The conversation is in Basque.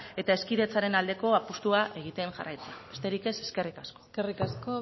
eta hezkidetzaren aldeko apustua egiten jarraitzea besterik ez eskerrik asko eskerrik asko